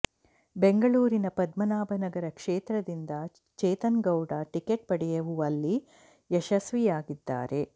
ಬೆಂಗಳೂರಿನ ಪದ್ಮನಾಭನಗರ ಕ್ಷೇತ್ರದಿಂದ ಚೇತನ್ ಗೌಡ ಟಿಕೆಟ್ ಪಡೆಯುವಲ್ಲಿ ಯಶಸ್ವಿಯಾಗಿದ್ದಾರೆ